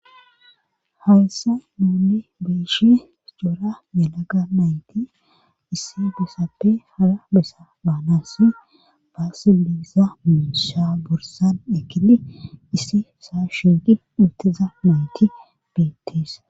hayssa nuuni beyishn coora melaga mayti isse besappe hara bessa baanasi baasiliza muisha bursan ekili issi saa shuegi uttiza nayti beettees